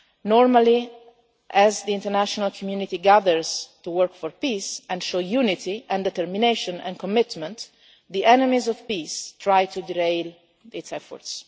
Normally, as the international community gathers to work for peace and show unity, and determination and commitment, the enemies of peace tried to derail its efforts.